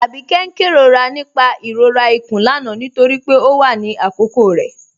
Abikẹ̀'s n kẹrọra nípà ìrọ̀rà ikún lánà nítorí pé ọ wà ní àkókò rẹ